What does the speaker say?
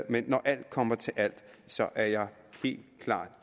men når alt kommer til alt er jeg helt klart